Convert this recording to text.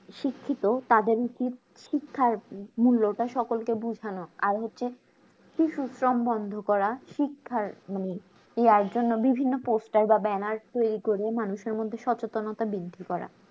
শিক্ষিত তাদের উচিত শিক্ষার মূল্যটা সকলকে বোঝানো আর হচ্ছে শিশু শ্রম বন্ধ করা শিক্ষার মানে ইয়ার জন্য বিভিন্ন poster বা banner তৈরী করে মানুষের মধ্যে সচেতনতা বৃদ্ধি করা